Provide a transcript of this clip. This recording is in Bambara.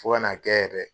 Fo ka n'a kɛ yɛrɛ